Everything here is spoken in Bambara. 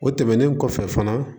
O tɛmɛnen kɔfɛ fana